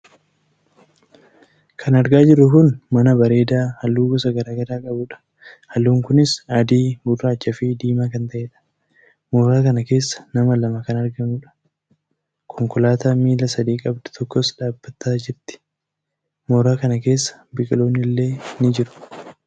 Kan argaa jirru kun mana bareedaa halluu gosa garaagaraa qabudha. halluun kunis adii gurraachaafi diimaa kan taheedha. Mooraa kana keessa nama lama kan argamu. Konkolaataa miila sadii qabdu tokkos dhaabbataa jirti .mooraa kana keessa biqiloonnillee ni jiru.